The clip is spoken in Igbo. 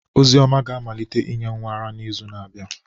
Ozioma ga-amalite inye nwa ara n'izu na-abịa.